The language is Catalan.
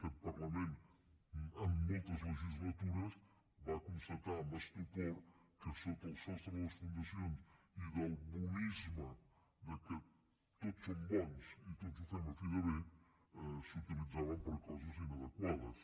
aquest parlament en moltes legislatures va constatar amb estupor que sota el sostre de les fundacions i del bonisme que tots som bons i tots ho fem a fi de bé s’utilitzaven per a coses inadequades